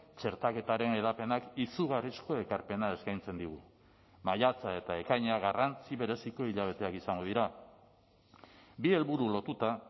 txertaketaren hedapenak izugarrizko ekarpena eskaintzen digu maiatza eta ekaina garrantzi bereziko hilabeteak izango dira bi helburu lotuta